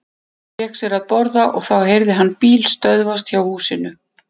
Hann fékk sér að borða og þá heyrði hann bíl stöðvast hjá húsinu.